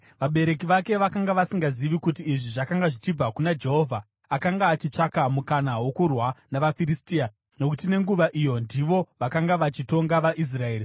(Vabereki vake vakanga vasingazivi kuti izvi zvakanga zvichibva kuna Jehovha, akanga achitsvaka mukana wokurwa navaFiristia; nokuti nenguva iyo ndivo vakanga vachitonga vaIsraeri.)